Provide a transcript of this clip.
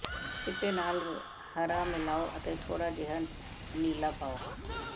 ਚਿੱਟੇ ਨਾਲ ਹਰਾ ਮਿਲਾਓ ਅਤੇ ਥੋੜਾ ਜਿਹਾ ਨੀਲਾ ਪਾਓ